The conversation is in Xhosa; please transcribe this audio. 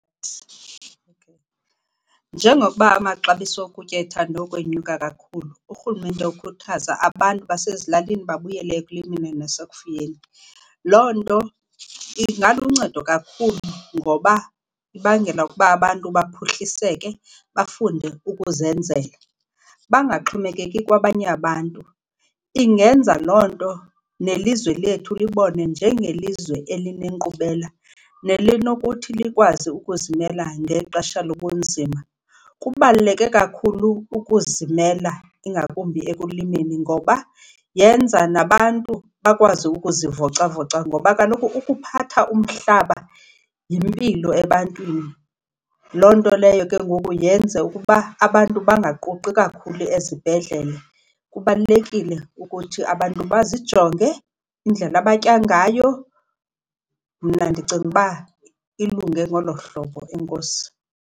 Njengokuba amaxabiso okutya ethande ukwenyuka kakhulu urhulumente ukukhuthaza abantu basezilalini babuyele ekulimeni nasekufuyeni. Loo nto ingaluncedo kakhulu ngoba ibangela ukuba abantu baphuhliseke bafunde ukuzenzela, bangaxhomekeki kwabanye abantu. Ingenza loo nto nelizwe lethu libonwe njengelizwe elinenkqubela nelinokuthi likwazi ukuzimela ngexesha lobunzima. Kubaluleke kakhulu ukuzimela ingakumbi ekulimeni ngoba yenza nabantu bakwazi ukuzivocavoca. Ngoba kaloku ukuphatha umhlaba yimpilo ebantwini, loo nto leyo ke ngoku yenze ukuba abantu bangaquqi kakhulu ezibhedlele. Kubalulekile ukuthi abantu bazijonge indlela abatya ngayo. Mna ndicinga uba ilunge ngolo hlobo, enkosi.